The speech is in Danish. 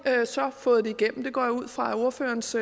så fået det igennem det går jeg ud fra at ordførerens